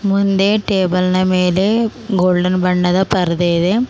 ಮುಂದೆ ಟೇಬಲ ನ ಮೆಲೆ ಗೋಲ್ಡನ್ ಬಣ್ಣದ ಪರದೆ ಇದೆ.